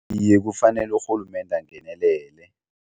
Iye, kufanele urhulumende angenelele.